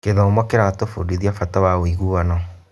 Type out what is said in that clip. Gĩthomo kĩratũbundithia bata wa ũiguano.